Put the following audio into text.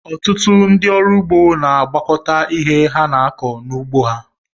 Ọtụtụ ndị ọrụ ụgbọ na-agwakọta ihe ha na-akọ n'ụgbọ ha.